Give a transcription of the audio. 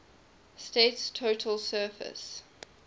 state's total surface